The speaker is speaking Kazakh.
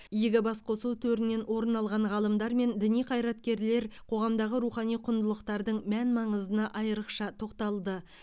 игі басқосу төрінен орын алған ғалымдар мен діни қайраткерлер қоғамдағы рухани құндылықтардың мән маңызына айрықша тоқталды